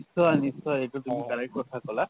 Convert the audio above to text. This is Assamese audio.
নিশ্চয় নিশ্চয়। এইতো তুমি correct কথা কলা।